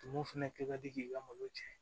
Tumu fɛnɛ kɛ ka di k'i ka malo tiɲɛ